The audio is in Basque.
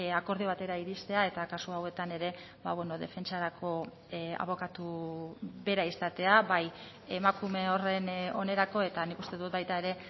akordio batera iristea eta kasu hauetan ere defentsarako abokatu bera izatea bai emakume horren onerako eta nik uste dut baita ere